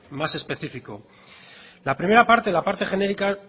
más específico la primera parte la parte genérica